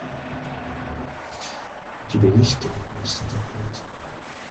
у тебя есть кино марс атакует